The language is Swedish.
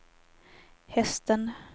hästen